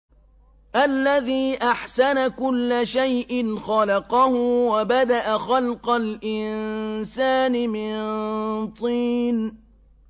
الَّذِي أَحْسَنَ كُلَّ شَيْءٍ خَلَقَهُ ۖ وَبَدَأَ خَلْقَ الْإِنسَانِ مِن طِينٍ